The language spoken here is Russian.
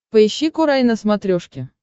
поищи курай на смотрешке